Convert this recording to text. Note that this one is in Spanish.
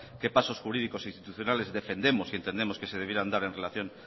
qué pasos jurídicos e institucionales defendemos y entendemos que se debieran dar en relación